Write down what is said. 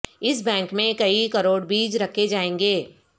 اس bank میں کئی کروڑ بیج رکھے جائیں گے